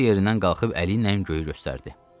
O yerindən qalxıb əli ilə göyü göstərdi.